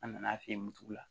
An nana f'i ye nugu